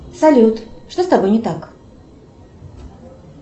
салют что с тобой не так